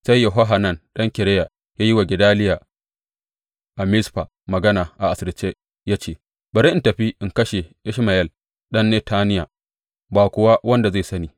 Sai Yohanan ɗan Kareya ya yi wa Gedaliya a Mizfa magana a asirce ya ce, Bari in tafi in kashe Ishmayel ɗan Netaniya, ba kuwa wanda zai sani.